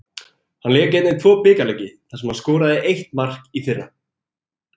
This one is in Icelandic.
Hann lék einnig tvo bikarleiki þar sem hann skoraði eitt mark í fyrra.